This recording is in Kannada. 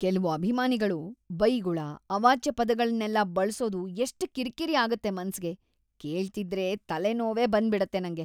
ಕೆಲ್ವು ಅಭಿಮಾನಿಗಳು ಬೈಗುಳ, ಅವಾಚ್ಯ ಪದಗಳ್ನೆಲ್ಲ ಬಳ್ಸೋದು ಎಷ್ಟ್ ಕಿರ್ಕಿರಿ‌ ಆಗತ್ತೆ ಮನ್ಸಿಗೆ.. ಕೇಳ್ತಿದ್ರೆ ತಲೆನೋವೇ ಬಂದ್ಬಿಡತ್ತೆ ನಂಗೆ.